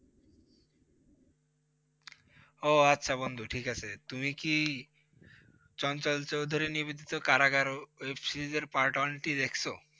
উহ আচ্ছা বন্ধু ঠিক আছে। তুমি কি চঞ্চল চৌধুরী নিবেদিত কারাগার Webseries এর Part One টি দেখছ?